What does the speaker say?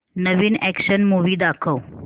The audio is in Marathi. नवीन अॅक्शन मूवी दाखव